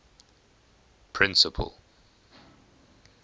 principal